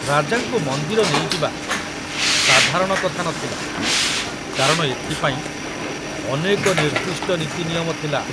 ରାଜାଙ୍କୁ ମନ୍ଦିର ନେଇଯିବା ସାଧାରଣ କଥା ନ ଥିଲା, କାରଣ ଏଥିପାଇଁ ଅନେକ ନିର୍ଦ୍ଦିଷ୍ଟ ନୀତି ନିୟମ ଥିଲା।